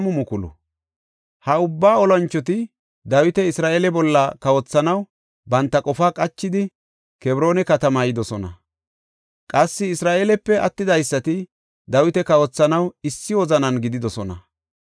Ha ubba olanchoti Dawita Isra7eele bolla kawothanaw banta qofaa qachidi, Kebroona katamaa yidosona. Qassi Isra7eelepe attidaysati Dawita kawothanaw issi wozanan gididosona.